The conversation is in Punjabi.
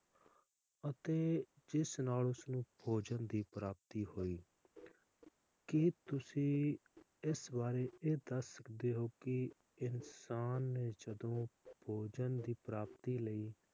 ਅਤੇ ਜਿਸ ਨਾਲ ਉਸਨੂੰ ਭੋਜਨ ਦੀ ਪ੍ਰਾਪਤੀ ਹੋਈ ਕਿ ਤੁਸੀਂ ਇਸ ਵਾਰੇ ਇਹ ਦਸ ਸਕਦੇ ਹੋ ਕਿ ਇਨਸਾਨ ਨੇ ਜਦੋ ਭੋਜਨ ਦੀ ਪ੍ਰਾਪਤੀ ਲਈ,